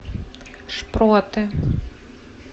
шпроты